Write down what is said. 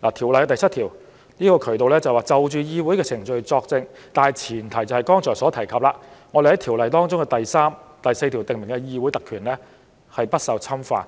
《條例》第7條下的渠道是，就議會程序作證的大前提，是《條例》第3條及第4條訂明的議會特權不受侵犯，